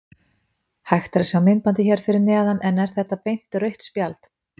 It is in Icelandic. Hægt er að sjá myndbandið hér fyrir neðan en er þetta beint rautt spjald?